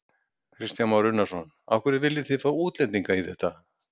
Kristján Már Unnarsson: Af hverju viljið þið fá útlendinga í þetta?